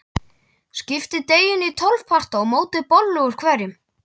Skiptið deiginu í tólf parta og mótið bollu úr hverjum.